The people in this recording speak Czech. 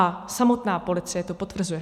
A samotná policie to potvrzuje.